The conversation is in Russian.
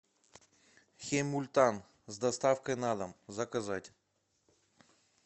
хемультан с доставкой на дом заказать